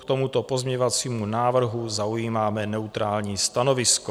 K tomuto pozměňovacímu návrhu zaujímáme neutrální stanovisko.